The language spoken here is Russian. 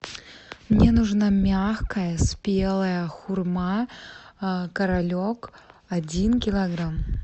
мне нужна мягкая спелая хурма королек один килограмм